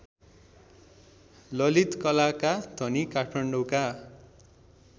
ललितकलाका धनी काठमाडौँका